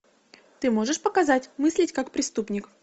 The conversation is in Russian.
ты можешь показать мыслить как преступник